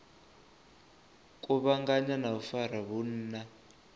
kuvhanganya na u fara vhunna